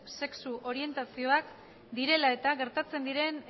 sexu orientazioak direla eta gertatzen diren